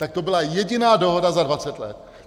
Tak to byla jediná dohoda za 20 let.